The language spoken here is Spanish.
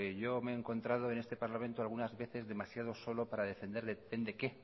yo me he encontrado en este parlamento algunas veces demasiado solo para defender depende qué